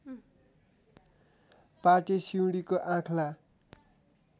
पाटे सिउँडीको आँख्ला